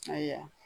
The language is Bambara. Ayiwa